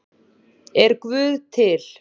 Er guð til